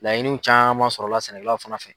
Laɲini caman sɔrɔla sɛnɛkɛlaw fana fɛ.